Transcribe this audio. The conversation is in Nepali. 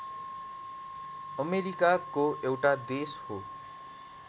अमेरिकाको एउटा देश हो